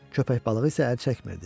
Köpək balığı isə əl çəkmirdi.